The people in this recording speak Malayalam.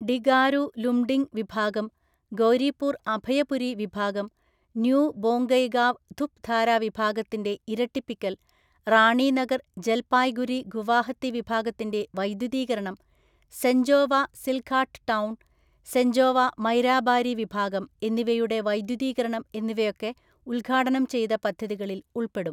ഡിഗാരു ലുംഡിംഗ് വിഭാഗം ഗൗരിപൂര്‍ അഭയപുരി വിഭാഗം, ന്യൂ ബോംഗൈഗാവ് ധുപ് ധാരാ വിഭാഗത്തിന്റെ ഇരട്ടിപ്പിക്കൽ റാണിനഗർ ജല്പായ്ഗുരി ഗുവാഹത്തി വിഭാഗത്തിന്റെ വൈദ്യുതീകരണം സെഞ്ചോവ സില്ഘാട്ട് ടൗണ്‍, സെഞ്ചോവ മൈരാബാരി വിഭാഗം എന്നിവയുടെ വൈദ്യുതീകരണം എന്നിവയൊക്കെ ഉദ്ഘാടനം ചെയ്ത പദ്ധതികളിൽ ഉള്‍പ്പെടും.